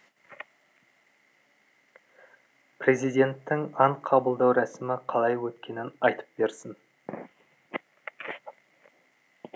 президенттің ант қабылдау рәсімі қалай өткенін айтып берсін